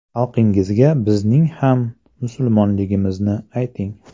Xalqingizga bizning ham musulmonligimizni ayting.